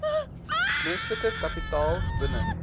menslike kapitaal binne